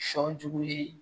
Sɔ jugulen